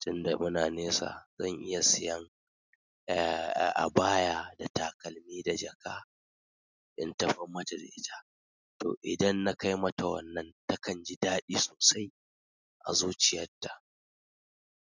tunda muna nesa zan iya siyan, eh, abaya da takalmi da jaka in tafi majalisa. Toh idan na kai mata wannan takan ji daɗi sosai a zuciyarta.